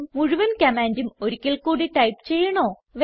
മുഴുവൻ കമാൻഡും ഒരിക്കൽ കൂടി ടൈപ്പ് ചെയ്യണോ160